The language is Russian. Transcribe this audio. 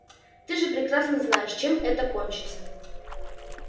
ты же прекрасно знаешь чем это кончится